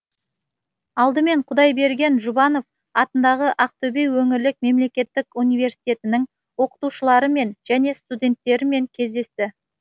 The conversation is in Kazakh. алдымен құдайберген жұбанов атындағы ақтөбе өңірлік мемлекеттік университетінің оқытушыларымен және студенттерімен кездесті